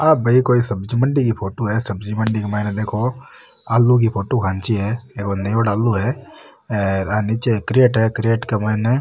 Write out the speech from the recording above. आ भाई कोई सब्जी मंडी की फोटो है सब्जी मंडी के मईने देखो आलू की फोटो खैंचि है और न्यूडो आलू है आर निचे कैरट है कैरट के माइन --